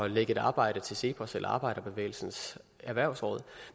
lægge et arbejde til cepos eller til arbejderbevægelsens erhvervsråd